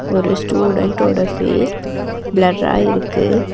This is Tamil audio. ஒரு ஸ்டூடன்டோட ஃபேஸ் பிளர்ரா இருக்கு.